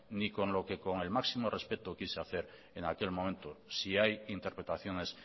ni con lo que con el máximo respeto quise hacer en aquel momento si hay interpretaciones